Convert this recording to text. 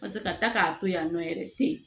Paseke ka taa k'a to yen nɔ yɛrɛ tɛ yen